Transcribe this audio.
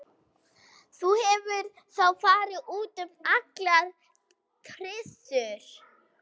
Þú hefur þá farið út um allar trissur?